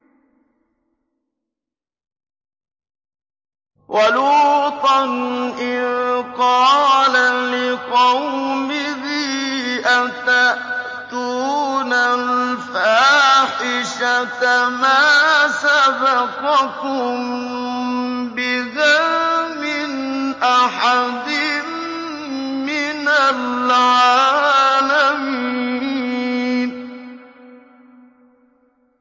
وَلُوطًا إِذْ قَالَ لِقَوْمِهِ أَتَأْتُونَ الْفَاحِشَةَ مَا سَبَقَكُم بِهَا مِنْ أَحَدٍ مِّنَ الْعَالَمِينَ